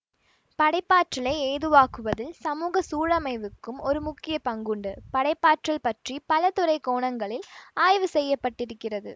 படைப்பாற்றலை ஏதுவாக்குவதில் சமூக சூழமைவுக்கும் ஒரு முக்கிய பங்குண்டு படைப்பாற்றல் பற்றி பல துறை கோணங்களில் ஆய்வு செய்ய பட்டிருக்கிறது